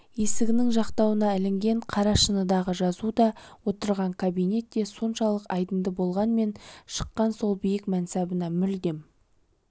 есігінің жақтауына ілінген қара шыныдағы жазу да отырған кабинет де соншалық айдынды болғанмен шықаң сол биік мәнсабына мүлдем